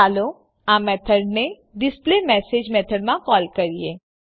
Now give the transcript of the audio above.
ચાલો આ મેથડને ડિસ્પ્લેમેસેજ મેથડમાં કોલ કરીએ